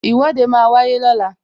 Ìwọ́de máa wáyé lọ́la